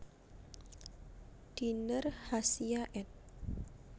Diner Hasia ed